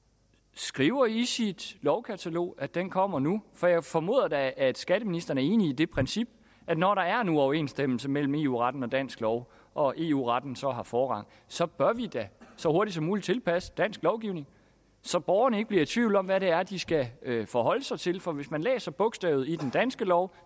skriver i sit lovkatalog at den kommer nu for jeg formoder da at skatteministeren er enig i det princip at når der er en uoverensstemmelse mellem eu retten og dansk lov og eu retten så har forrang så bør vi da så hurtigt som muligt tilpasse dansk lovgivning så borgerne ikke bliver i tvivl om hvad det er de skal forholde sig til for hvis man læser bogstavet i den danske lov